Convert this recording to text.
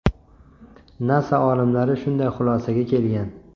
NASA olimlari shunday xulosaga kelgan.